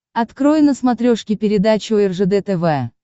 открой на смотрешке передачу ржд тв